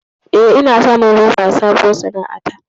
Eh, ina samun riba a sabuwar sana'a ta.